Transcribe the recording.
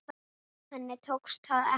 Henni tókst það ekki.